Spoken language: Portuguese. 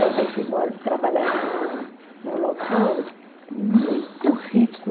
Também fui trabalhar numa num local muito rico